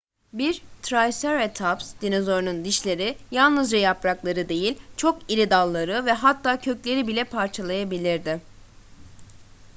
bir triceratops dinozorunun dişleri yalnızca yaprakları değil çok diri dalları ve hatta kökleri bile parçalayabilirdi